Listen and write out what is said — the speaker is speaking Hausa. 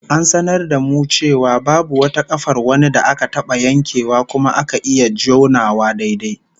An sanar da mu cewa babu wata kafar wani da aka taba yankewa kuma aka iya jonawa daidai